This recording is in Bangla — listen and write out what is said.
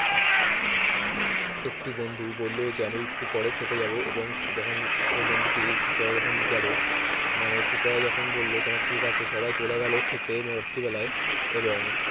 একটি বন্ধু বলল যে আমি একটু পরে খেতে যাব এবং যখন সেই বন্ধুটি একটু পরে যখন গেল মানে একটু পরে যখন বলল ঠিক আছে সবাই চলে গেল খেতে রাত্রিবেলায় এবং